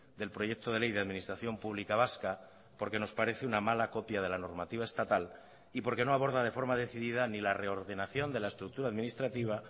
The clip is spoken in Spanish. del proyecto de ley de administración pública vasca porque nos parece una mala copia de la normativa estatal y porque no aborda de forma decidida ni la reordenación de la estructura administrativa